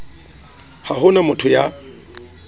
ha ho na motho ya